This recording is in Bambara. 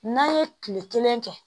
N'an ye kile kelen kɛ